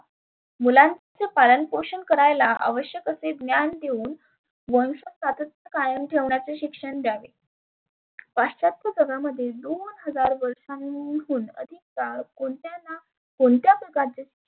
मुलांचं पालन पोषण करायला आवश्यक असे ज्ञान देऊन वंश सातत्य कायम ठेवण्याचे शिक्षण द्यावे. पाश्च्यात जगामध्ये दोन हजार वर्षांहून अधीक काळ कोणत्याना कोणत्या प्रकारे